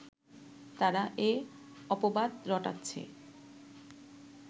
তারা এ অপবাদ রটাচ্ছে